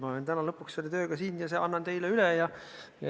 Ma olen täna lõpuks selle tööga siin ja annan selle teile üle.